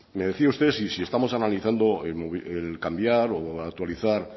me decía usted si estamos analizando el cambiar o actualizar